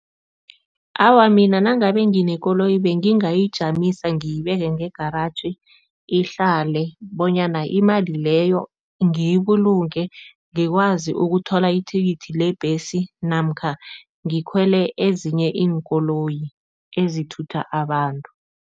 Awa, mina nangabe nginekoloyi bengingayijamisa ngiyibeke ngegaraji, ihlale bonyana imali leyo ngiyibulunge, ngikwazi ukuthola ithikithi lebhesi namkha ngikhwele ezinye iinkoloyi ezithutha abantu.